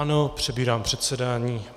Ano, přebírám předsedání.